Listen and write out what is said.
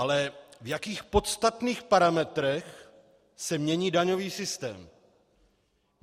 Ale v jakých podstatných parametrech se mění daňový systém?